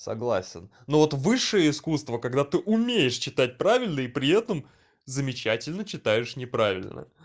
согласен ну вот высшее искусство когда ты умеешь читать правильно и при этом замечательно читаешь неправильно